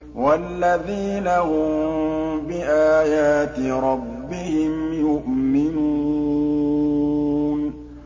وَالَّذِينَ هُم بِآيَاتِ رَبِّهِمْ يُؤْمِنُونَ